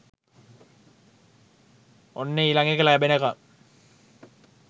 ඔන්න ඊලග එක ලැබෙනකම්